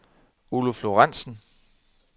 Oluf Lorenzen